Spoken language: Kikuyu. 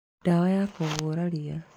Ndawa ya kũhũra ria.